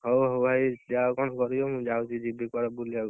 ହଉ ହଉ ଭାଇ ଯାଅ କଣ କରିବ, ମୁଁ ଯାଉଛି ଯିବି କୁଆଡେ ବୁଲୁବାକୁ।